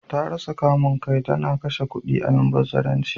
Ta rasa kamun kai, ta na kashe kudi almubazzararanci.